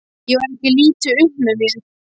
Ég var ekki lítið upp með mér.